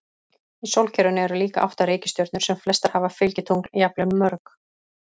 Í sólkerfinu eru líka átta reikistjörnur sem flestar hafa fylgitungl, jafnvel mörg.